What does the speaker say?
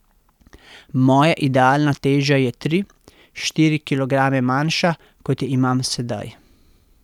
Moja idealna teža je tri, štiri kilograme manjša, kot jo imam sedaj.